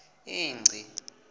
ingci